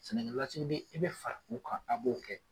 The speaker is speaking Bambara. Sena ntolaci, i bɛ fara u kan, a b'o kɛ!